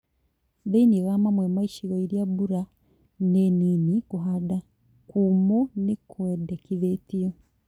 Thĩinĩ wa mamwe ma icigo iria mbura nĩ nini kũhanda kũmũ nĩkwendekithĩtio